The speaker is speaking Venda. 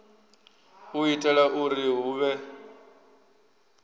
u itela uri hu vhe